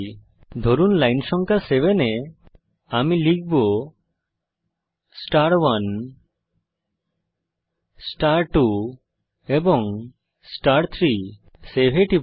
ধরুন এখানে লাইন সংখ্যা 7 এ আমি লিখব star1 star2 এবং star3 সেভ এ টিপুন